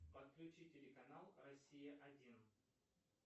подключи телеканал россия один